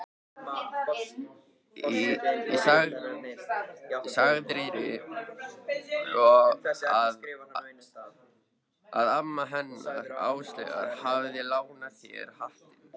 Og sagðirðu að amma hennar Áslaugar hafi lánað þér hattinn?